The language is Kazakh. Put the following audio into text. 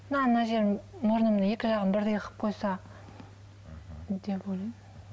мына мына жерім мұрнымның екі жағын бірдей қылып қойса деп ойлаймын